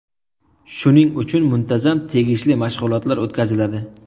Shuning uchun muntazam tegishli mashg‘ulotlar o‘tkaziladi.